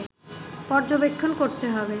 পর্যবেক্ষণ করতে হবে